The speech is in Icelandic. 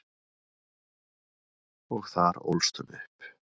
Og þar ólst hún upp.